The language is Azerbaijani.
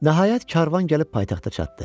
Nəhayət, karvan gəlib paytaxta çatdı.